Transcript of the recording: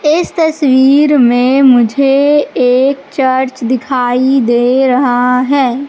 इस चित्र में मुझे एक चर्च दिखाई दे रहा है।